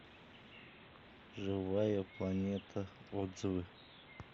живая планета отзывы